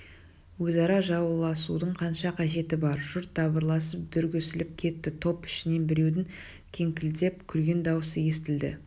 өзара жауласудың қанша қажеті бар жұрт дабырласып дүрлігісіп кетті топ ішінен біреудің кеңкілдеп күлген даусы естілді